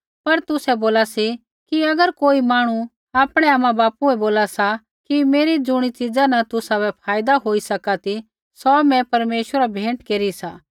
पर तुसै बोला सी कि अगर कोई मांहणु आपणै आमाबापू बै बोला सा कि मेरी ज़ुणी च़ीज़ा न तुसाबै फायदा होई सका ती सौ मैं परमेश्वरा बै भेंट केरी सा